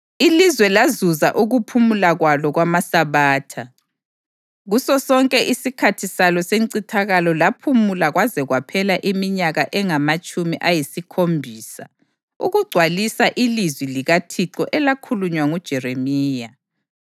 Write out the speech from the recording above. Ilizwe lazuza ukuphumula kwalo kwamasabatha; kusosonke isikhathi salo sencithakalo laphumula kwaze kwaphela iminyaka engamatshumi ayisikhombisa ukugcwalisa ilizwi likaThixo elakhulunywa nguJeremiya.